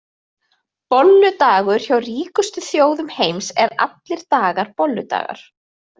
Bolludagur Hjá ríkustu þjóðum heimsins eru allir dagar bolludagar.